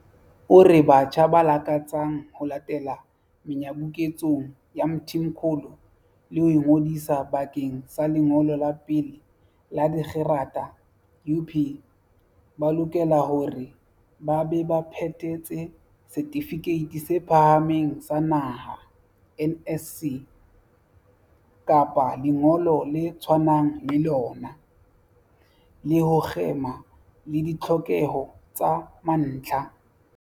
O re batjha ba lakatsang ho latela menyabuketsong ya Mthimkhulu le ho ingodisa bakeng sa lengolo la pele la dikgerata UP ba lokela hore ba be ba phethetse Setifikeiti se Phahameng sa Naha, NSC, kapa lengolo le tshwanang le lona, le ho kgema le ditlhokeho tsa mantlha.